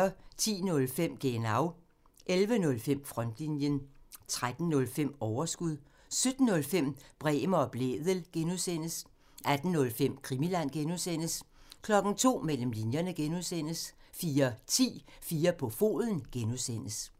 10:05: Genau 11:05: Frontlinjen 13:05: Overskud 17:05: Bremer og Blædel (G) 18:05: Krimiland (G) 02:00: Mellem linjerne (G) 04:10: 4 på foden (G)